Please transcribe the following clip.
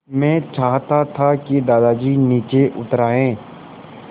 मैं चाहता था कि दादाजी नीचे उतर आएँ